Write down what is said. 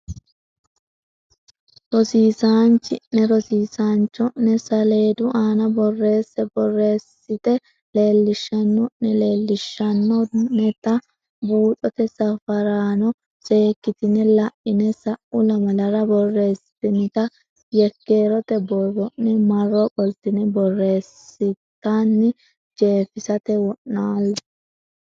Rosiisaanchi ne rosiisaancho ne saleedu aana borreesse borreessite leellishanno ne leellishshanno neta buuxote safaraano seekkitine la ine sa u lamalara borreessitinita yekkeerote borro ne marro qoltine borreessatenni jeefisate wo naalle.